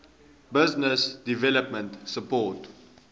business development support